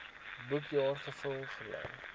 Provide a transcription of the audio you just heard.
boekjaar gevul gebly